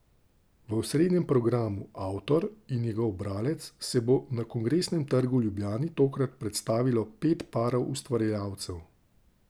V osrednjem programu, Avtor in njegov bralec, se bo na Kongresnem trgu v Ljubljani tokrat predstavilo pet parov ustvarjalcev.